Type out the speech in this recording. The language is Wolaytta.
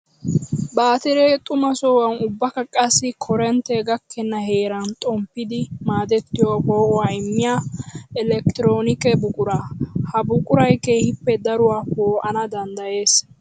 Baatire xuma sohuwan ubbakka qassi koorintte gakkenna heeran xomppiddi maadettiyo poo'uwaa immiya elekkitiroonikke buqura. Ha buquray keehippe daruwa poo'anna danddayees.